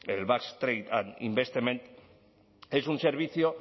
el basque trade investment es un servicio